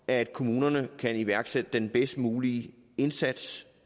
at kommunerne kan iværksætte den bedst mulige indsats